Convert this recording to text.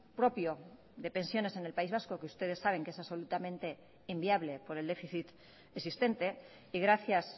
propio de pensiones en el país vasco que ustedes saben que es absolutamente inviable por el déficit existente y gracias